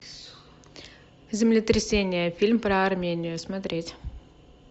землетрясение фильм про армению смотреть